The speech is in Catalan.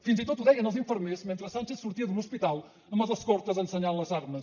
fins i tot ho deien els infermers mentre sánchez sortia d’un hospital amb els escortes ensenyant les armes